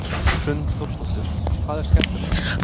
Hrund Þórsdóttir: Hvað er skemmtilegast?